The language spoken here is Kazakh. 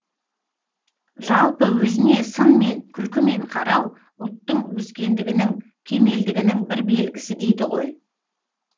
жалпы өзіне сынмен күлкімен қарау ұлттың өскендігінің кемелдігінің бір белгісі дейді ғой